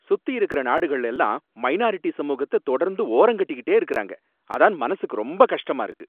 சுத்தியிருக்கிற நாடுகள்ள எல்லாம் மைனாரிட்டி சமூகத்த தொடர்ந்து ஓரங்கட்டிட்டே இருக்காங்க, அதான் மனசுக்கு ரொம்ப கஷ்டமா இருக்கு.